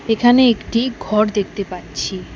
এখানে একটি ঘর দেখতে পাচ্ছি।